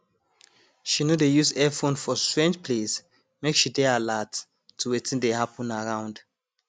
she no dey use earphone for strange place make she dey alert to wetin dey happen around